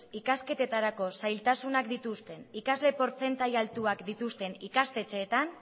ikasketetarako zailtasunak dituzten ikasle portzentai altuak dituzten ikastetxeetan